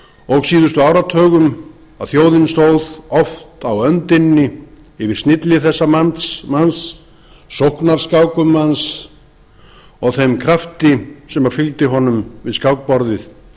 og síðustu áratugum að þjóðin stóð oft á öndinni yfir snilli þessa manns sóknarskákum hans og þeim krafti sem fylgdi honum við skákborðið